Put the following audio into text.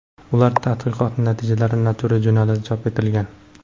Ular tadqiqoti natijalari Nature jurnalida chop etilgan .